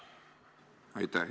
Aitäh!